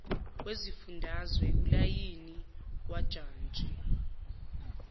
wesifundazwe ulayini wajantshi